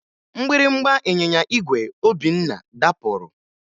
Mgbịrịmgba ịnyịnya igwe Obinna dapụrụ